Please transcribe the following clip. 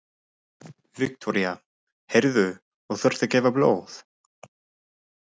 Viktoría: Heyrðu, og þú ert að gefa blóð?